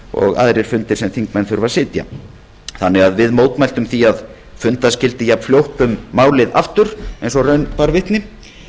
og aðrir fundir sem þingmenn þurfa að sitja við mótmæltum því að funda skyldi jafnfljótt um málið aftur og raun bara vitni